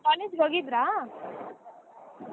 College ಗ ಹೋಗಿದ್ರಾ.